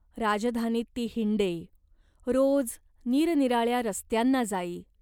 राजधानीत ती हिंडे. रोज निरनिराळ्या रस्त्यांना जाई.